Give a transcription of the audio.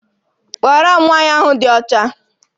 Kpọọrọ m nwaanyị ahụ dị ọcha!